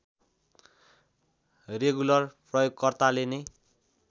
regular प्रयोगकर्ताले नै